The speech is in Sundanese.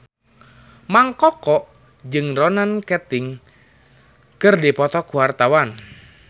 Mang Koko jeung Ronan Keating keur dipoto ku wartawan